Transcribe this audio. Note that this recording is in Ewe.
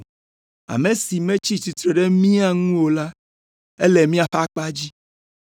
Ame si metsi tsitre ɖe mía ŋu o la, ele míaƒe akpa dzi.